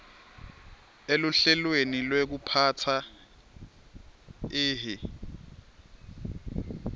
eluhlelweni lwekuphatsa ihi